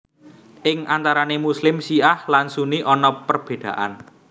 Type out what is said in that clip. Ing antarane Muslim Syiah lan Sunni ana perbedaan